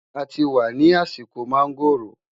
àti wà nì àsìkò mangoọ̀ró